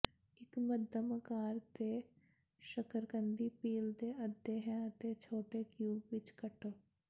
ਇੱਕ ਮੱਧਮ ਆਕਾਰ ਦੇ ਸ਼ੱਕਰਕੰਦੀ ਪੀਲ ਦੇ ਅੱਧੇ ਹੈ ਅਤੇ ਛੋਟੇ ਕਿਊਬ ਵਿੱਚ ਕੱਟ